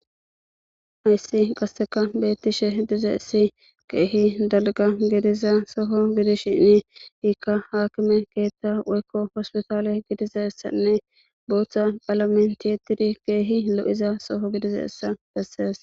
Hayssi qasseka beettishe dizayissi keehi dalgga gidiza soho gidishiini ikka aakime keetta woykko hospitaale gidizayssanne booththa qaalamen ti7ettidi keehi lo7iza soho gidizayssa bessees.